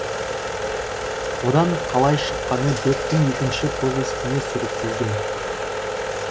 одан қалай шыққаны бектің екінші повесінде суреттелген